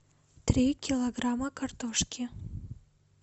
три килограмма картошки